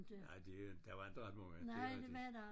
Nej det jo en der var inte ret mange det er rigtigt